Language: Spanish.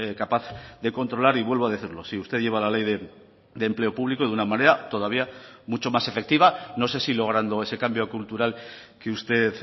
capaz de controlar y vuelvo a decirlo si usted lleva la ley de empleo público de una manera todavía mucho más efectiva no sé si logrando ese cambio cultural que usted